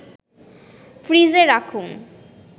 ফ্রিজে রাখুন